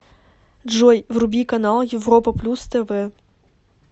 джой вруби канал европа плюс тв